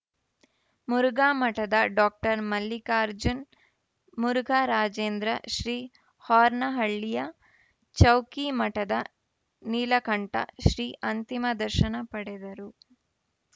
ಮುರುಘಾಮಠದ doctor Mallikarjun Murugharajendra Shri ಹಾರ್ನಹಳ್ಳಿಯ ಚೌಕಿ ಮಠದ ನೀಲಕಂಠ ಶ್ರೀ ಅಂತಿಮ ದರ್ಶನ ಪಡೆದರು